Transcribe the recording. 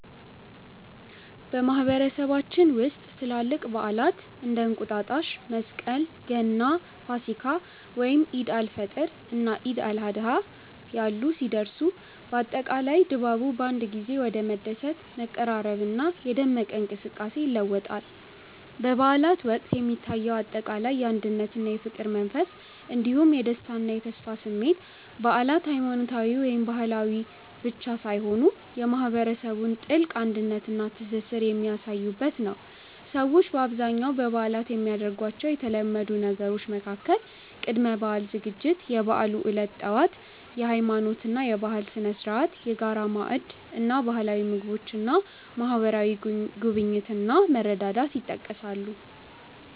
በማህበረሰባችን ውስጥ ትላልቅ በዓላት (እንደ እንቁጣጣሽ፣ መስቀል፣ ገና፣ ፋሲካ፣ ወይም ዒድ አል-ፈጥር እና ዒድ አል-አድሃ ያሉ) ሲደርሱ፣ አጠቃላይ ድባቡ በአንድ ጊዜ ወደ መደሰት፣ መቀራረብና የደመቀ እንቅስቃሴ ይለወጣል። በበዓላት ወቅት የሚታየው አጠቃላይ የአንድነትና የፍቅር መንፈስ እንዲሁም የደስታና የተስፋ ስሜት በዓላት ሃይማኖታዊ ወይም ባህላዊ ብቻ ሳይሆኑ የማህበረሰቡን ጥልቅ አንድነትና ትስስር የሚያሳዩበት ነው። ሰዎች በአብዛኛው በበዓላት የሚያደርጓቸው የተለመዱ ነገሮች መካከል ቅድመ-በዓል ዝግጅት፣ የበዓሉ ዕለት ጠዋት (የሃይማኖትና የባህል ስነ-ስርዓት)፣የጋራ ማዕድ እና ባህላዊ ምግቦች እና ማህበራዊ ጉብኝት እና መረዳዳት ይጠቀሳሉ።